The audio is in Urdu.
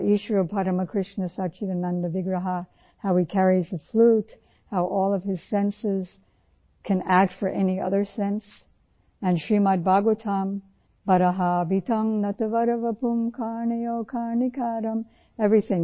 ایشورہ پرامہ کرشنہ سچیدانند وگرہاہ ईश्वर परम कृष्ण सच्चिदानन्द विग्रह who he carries the flute, who all of his senses can act for any other sense and Srimad Bhagavatam ٹیسر 9.09 برہپیند نٹوارواپوہ کرنایوہ کرناکرم बर्हापींड नटवरवपुः कर्णयो कर्णिकारं ایوریتھنگ،